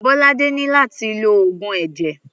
Bolade ní láti lo oògùn ẹ̀jẹ̀.